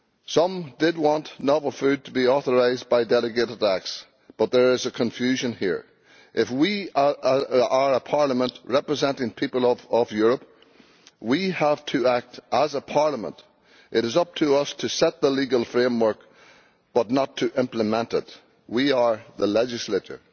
Some did want novel food to be authorised by delegated acts, but there is a confusion here. If we are a Parliament representing the people of Europe, we have to act as a Parliament it is up to us to set the legal framework, not to implement it. We are the legislature,